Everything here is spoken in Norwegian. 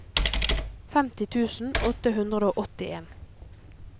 femti tusen åtte hundre og åttien